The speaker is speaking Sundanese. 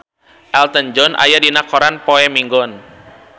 Elton John aya dina koran poe Minggon